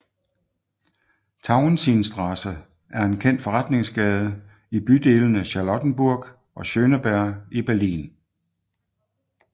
Tauentzienstraße er en kendt forretningsgade i bydelene Charlottenburg og Schöneberg i Berlin